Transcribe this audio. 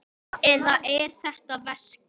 Eða er þetta veski?